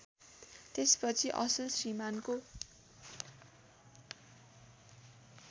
त्यसपछि असल श्रीमान्‌को